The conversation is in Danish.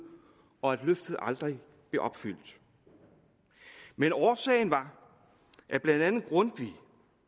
og at løftet aldrig blev opfyldt men årsagen var at blandt andet grundtvig